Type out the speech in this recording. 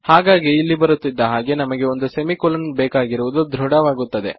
ಹಾಗಾಗಿ ಇಲ್ಲಿಗೆ ಬರುತ್ತಿದ್ದ ಹಾಗೆ ನಮಗೆ ಒಂದು ಸೆಮಿ ಕೊಲನ್ ಬೇಕಾಗಿರುವುದು ಧೃಡ ವಾಗುತ್ತದೆ